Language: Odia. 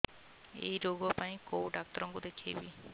ଏଇ ରୋଗ ପାଇଁ କଉ ଡ଼ାକ୍ତର ଙ୍କୁ ଦେଖେଇବି